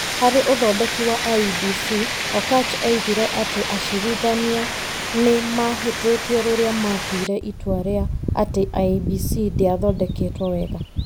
Harĩ ũthondeki wa IEBC, Okatch oigire atĩ acirithania nĩ mahĩtĩtie rĩrĩa matuire itua rĩa atĩ IEBC ndĩathondeketwo wega.